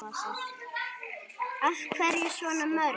Af hverju svona mörg?